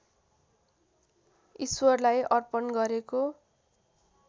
ईश्वरलाई अर्पण गरेको